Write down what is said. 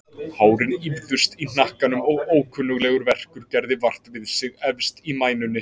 Hárin ýfðust í hnakkanum og ókunnuglegur verkur gerði vart við sig efst í mænunni.